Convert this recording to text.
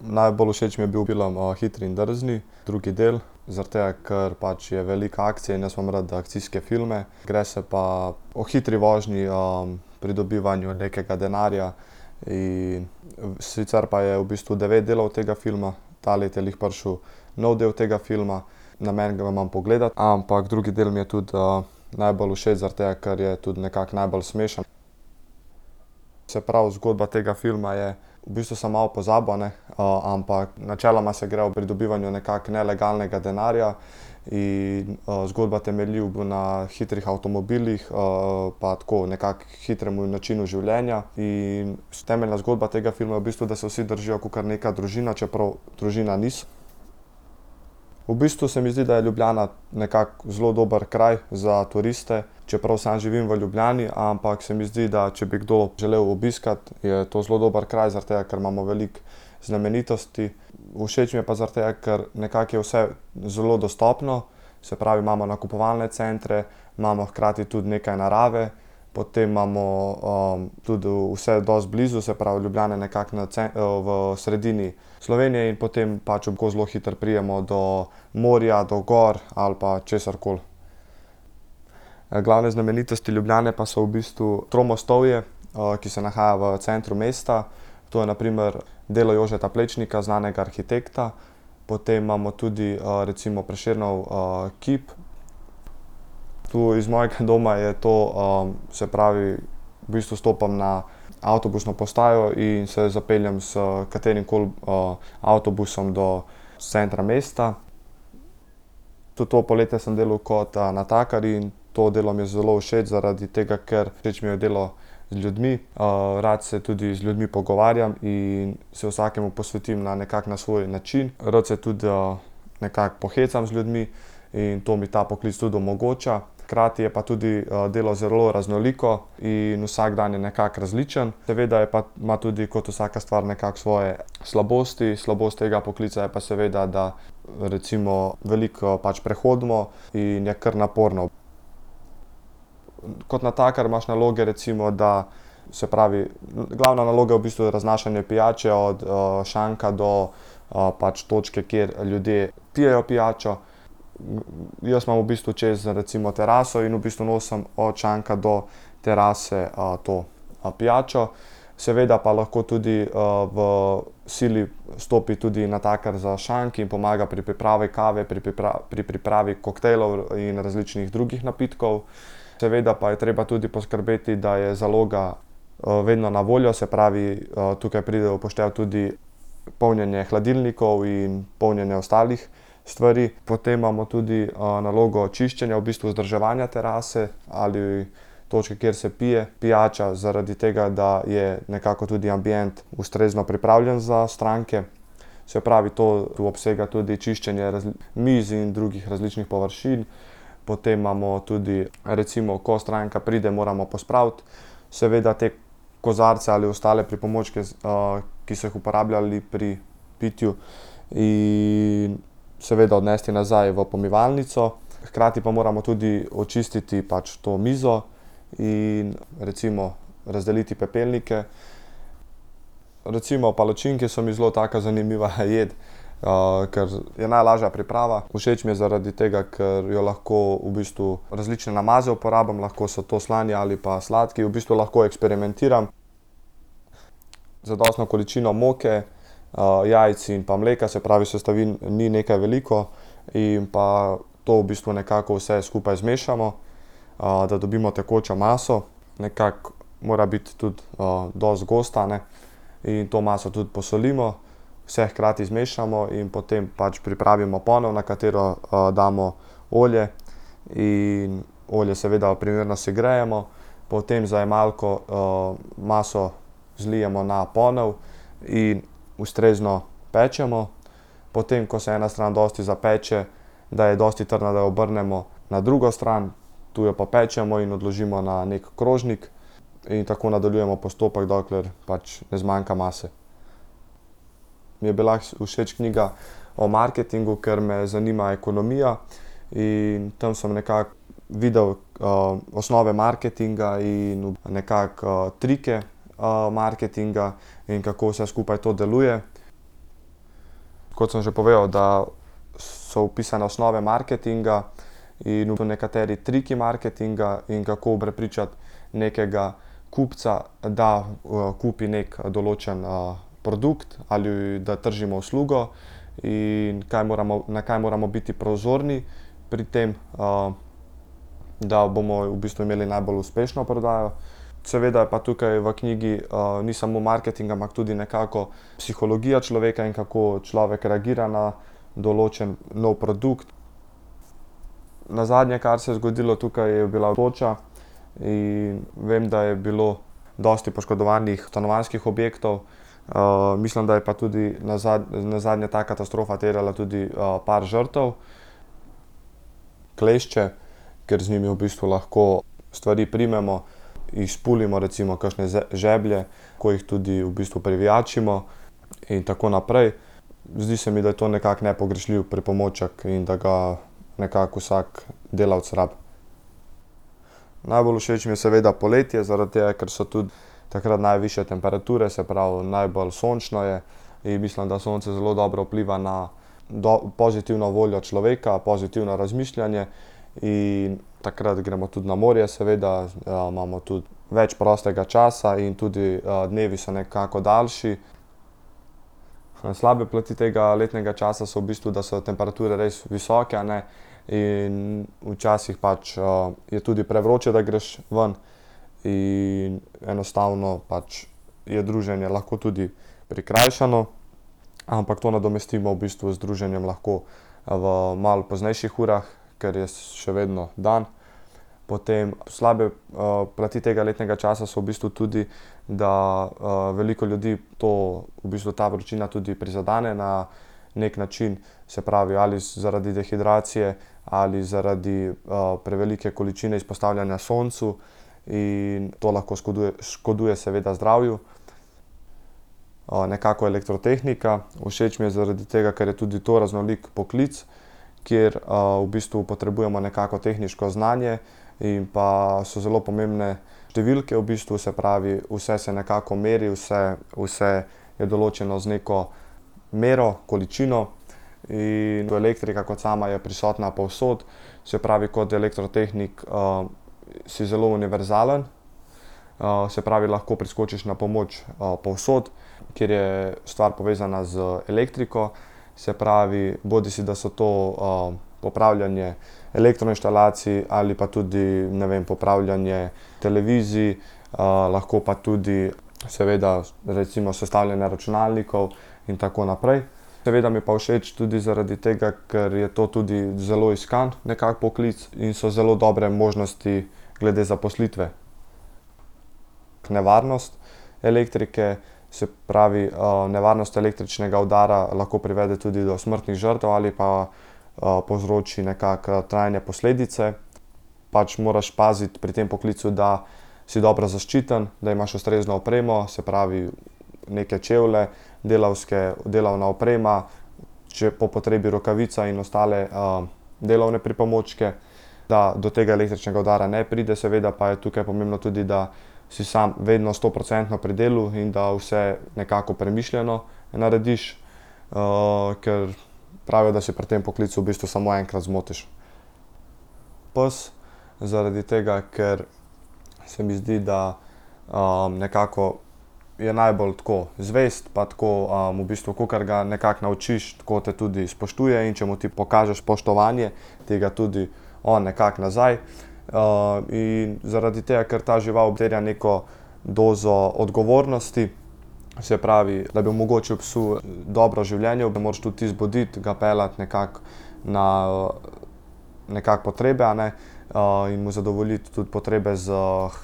Najbolj všeč mi je bil film, Hitri in drzni drugi del, zaradi tega, ker je pač veliko akcije in jaz imam rad da akcijske filme. Gre se pa o hitri vožnji, pridobivanju nekega denarja, in, sicer pa je v bistvu devet delov tega filma, to leto je glih prišel nov del tega filma. Namen ga imam pogledati, ampak drugi del mi je tudi, najbolj všeč zaradi tega, ker je to nekako najbolj smešno. Se pravi, zgodba tega filma je, v bistvu sem malo pozabil, a ne, ampak načeloma se gre o pridobivanju nekako nelegalnega denarja in, zgodba temelji na hitrih avtomobilih, pa tako nekako hitrem načinu življenja in temeljna zgodba tega filma je v bistvu, da se vsi držijo kakor neka družina, čeprav družina niso. V bistvu se mi zdi, da je Ljubljana nekako zelo dober kraj za turiste, čeprav sam živim v Ljubljani, ampak se mi zdi, da če bi kdo želel obiskati, je to zelo dober kraj, zaradi tega, ker imamo veliko znamenitosti. Všeč mi je pa zaradi tega, ker nekako je vse zelo dostopno, se pravi, imamo nakupovalne centre, imamo hkrati tudi nekaj narave, potem imamo, tudi vse dosti blizu. Se pravi, Ljubljana je nekako na v sredini Slovenije in potem pač lahko zelo hitro pridemo do morja, do gor ali pa česarkoli. glavne znamenitosti Ljubljane pa so v bistvu Tromostovje, ki se nahaja v centru mesta. To je na primer delo Jožeta Plečnika, znanega arhitekta. Potem imamo tudi, recimo Prešernov, kip. Tu iz mojega doma je to, se pravi, v bistvu stopim na avtobusno postajo in se zapeljem s katerimkoli, avtobusom do centra mesta. Tudi to poletje sem delal kot, natakar in to delo mi je zelo všeč zaradi tega, ker, všeč mi je delo z ljudmi, rad se tudi z ljudmi pogovarjam in se vsakemu posvetim na nekako na svoj način. Rad se tudi, nekako pohecam z ljudmi in to mi ta poklic tudi omogoča. Hkrati je pa tudi, delo zelo raznoliko in vsak dan je nekako različen. Seveda je pa ima tudi kot vsaka stvar nekako svoje slabosti. Slabost tega poklica je pa seveda, da recimo veliko pač prehodimo in je kar naporno. Kot natakar imaš naloge, recimo da, se pravi, glavna naloga je v bistvu raznašanje pijače od, šanka do, pač točke, kjer ljudje pijejo pijačo. Jaz imam v bistvu čez recimo teraso in v bistvu nosim od šanka do terase, to, pijačo. Seveda pa lahko tudi, v sili stopi tudi natakar za šank in pomaga pri pripravi kave, pri pri pripravi koktejlov in različnih drugih napitkov. Seveda pa je treba tudi poskrbeti, da je zaloga, vedno na voljo, se pravi, tukaj pride v poštev tudi polnjenje hladilnikov in polnjenje ostalih stvari. Potem imamo tudi, nalogo čiščenja, v bistvu vzdrževanja terase ali točke, kjer se pije pijača, zaradi tega da je nekako tudi ambient ustrezno pripravljen za stranke, se pravi, to tu obsega tudi čiščenje mizi in drugih različnih površin. Potem imamo tudi recimo, ko stranka pride, moramo pospraviti seveda te kozarce ali ostale pripomočke, ki so jih uporabljali pri pitju. In seveda odnesti nazaj v pomivalnico, hkrati pa moramo tudi očistiti pač to mizo in recimo razdeliti pepelnike. Recimo palačinke so mi zelo taka zanimiva jed. kar je najlažja priprava. Všeč mi je zaradi tega, ker jo lahko v bistvu različne namaze uporabim. Lahko so to slani ali pa sladki, v bistvu lahko eksperimentiram. Zadostno količino moke, jajc in pa mleka, se pravi, sestavin ni nekaj veliko. In pa to v bistvu nekako vse skupaj zmešamo, da dobimo tekočo maso. Nekako mora biti tudi, dosti gosta, a ne. In to maso tudi posolimo, vse hkrati zmešamo in potem pač pripravimo ponev, na katero, damo olje in olje seveda primerno segrejemo, potem z zajemalko, maso zlijemo na ponev in ustrezno pečemo. Potem, ko se ena stran dosti zapeče, da je dosti trdna, da jo obrnemo na drugo stran. Tu jo popečemo in odložimo na neki krožnik. In tako nadaljujemo postopek, dokler pač ne zmanjka mase. Mi je bila všeč knjiga o marketingu, ker me zanima ekonomija. In tam sem nekako videl, osnove marketinga in nekako, trike, marketinga, in kako vse skupaj to deluje. Kot sem že povedal, da so opisane osnove marketinga. In tudi nekateri triki marketinga in kako prepričati nekega kupca, da, kupi neki določen, produkt ali da tržimo uslugo. In kaj moramo, na kaj moramo biti prozorni pri tem, da bomo v bistvu imeli najbolj uspešno prodajo. Seveda pa tukaj v knjigi, ni samo marketing, ampak tudi nekako psihologija človeka in kako človek reagira na določen nov produkt. Nazadnje, kar se je zgodilo tukaj, je bila toča. In vem, da je bilo dosti poškodovanih stanovanjskih objektov. mislim, da je pa tudi nazadnje ta katastrofa terjala tudi, par žrtev. Klešče. Ker z njimi v bistvu lahko stvari primemo, jih izpulimo recimo kakšne žeblje. Ko jih tudi v bistvu privijačimo. In tako naprej. Zdi se mi, da je to nekako nepogrešljiv pripomoček in da ga nekako vsak delavec rabi. Najbolj všeč mi je seveda poletje, zaradi tega, ker so tudi takrat najvišje temperature, se pravi, najbolj sončno je. In mislim, da sonce zelo dobro vpliva na pozitivno voljo človeka, pozitivno razmišljanje. In takrat gremo tudi na morje seveda, imamo tudi več prostega časa in tudi, dnevi so nekako daljši. slabe plati tega letnega časa so v bistvu, da so temperature res visoke, a ne. In včasih pač, je tudi prevroče, da greš ven. In enostavno pač je druženje lahko tudi prikrajšano. Ampak to nadomestimo v bistvu z druženjem lahko v malo poznejših urah, ker je še vedno dan. Potem slabe, plati tega letnega časa so v bistvu tudi, da, veliko ljudi to, v bistvu ta vročina tudi prizadene na neki način. Se pravi, ali zaradi dehidracije ali zaradi, prevelike količine izpostavljanja soncu. In to lahko škoduje seveda zdravju. nekako elektrotehnika. Všeč mi je zaradi tega, ker je tudi to raznolik poklic, kjer, v bistvu potrebujemo nekako tehniško znanje. In pa so zelo pomembne številke v bistvu, se pravi, vse se nekako meri, vse, vse je določeno z neko mero, količino. In elektrika kot sama je prisotna povsod, se pravi, kot elektrotehnik, si zelo univerzalen. se pravi, lahko priskočiš na pomoč, povsod, kjer je stvar povezana z elektriko. Se pravi, bodisi, da so to, popravljanje elektroinštalacij ali pa tudi, ne vem, popravljanje televizij, lahko pa tudi seveda recimo sestavljanje računalnikov. In tako naprej. Seveda mi je pa všeč tudi zaradi tega, ker je to tudi zelo iskan nekako poklic in so zelo dobre možnosti glede zaposlitve. Nevarnost elektrike, se pravi, nevarnost električnega udara lahko privede tudi do smrtnih žrtev ali pa, povzroči nekako, trajne posledice. Pač moraš paziti pri tem poklicu, da si dobro zaščiten, da imaš ustrezno opremo, se pravi, neke čevlje delavske, delovna oprema, če je po potrebi rokavica in ostale, delovne pripomočke, da do tega električnega udara ne pride, seveda pa je tukaj pomembno tudi, da si samo vedno stoprocentno pri delu in da vse nekako premišljeno narediš, ker pravijo, da si pri tem poklical v bistvu samo enkrat zmotiš. Pes, zaradi tega, ker se mi zdi, da, nekako je najbolj tako zvest pa tako, v bistvu, kakor ga nekako naučiš, tako te tudi spoštuje. In če mu ti pokažeš spoštovanje, ti ga tudi on nekako nazaj. in zaradi tega, ker ta žival terja neko dozo odgovornosti, se pravi, da bi omogočil psu dobro življenje, ga moraš tudi ti zbuditi, ga peljati nekako na, nekako potrebe, a ne. in mu zadovoljiti tudi potrebe s